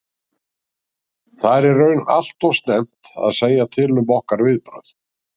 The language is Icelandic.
Það er í raun allt og snemmt að segja til um okkar viðbrögð.